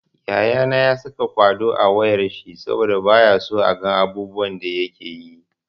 Yayana ya saka kwaɗo a wayar shi saboda bayaso a ga abubuwan da yakeyi.